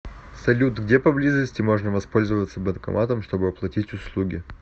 салют где поблизости можно воспользоваться банкоматом чтобы оплатить услуги